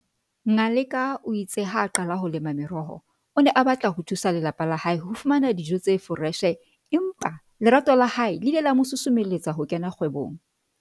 Ngaleka o itse ha a qala ho lema meroho, o ne a batla ho thusa lelapa la hae ho fumana dijo tse foreshe empa lerato la hae le ile la mosusumeletsa ho kena kgwebong.